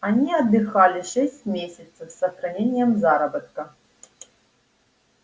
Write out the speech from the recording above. они отдыхали шесть месяцев с сохранением заработка